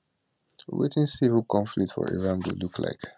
wetin civil conflict for iran go look like